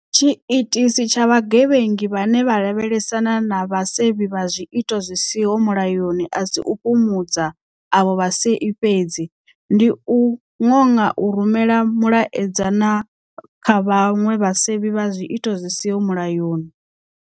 Tshiitisi tsha vhagevhengi vhane vha lavhelesana na vhasevhi vha zwiito zwi siho mulayoni a si u fhumudza avho vhasevhi fhedzi - ndi u ṅoṅa u rumela mulaedza na kha vhaṅwe vhasevhi vha zwiito zwi siho mulayoni.